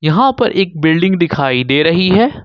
यहां पर एक बिल्डिंग दिखाई दे रही है।